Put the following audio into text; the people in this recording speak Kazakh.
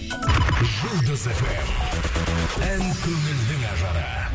жұлдыз фм ән көңілдің ажары